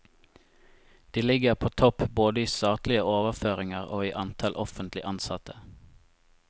De ligger på topp både i statlige overføringer og i antall offentlig ansatte.